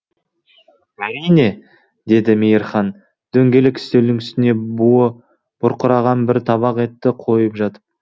әрине деді мейірхан дөңгелек үстелдің үстіне буы бұрқыраған бір табақ етті қойып жатып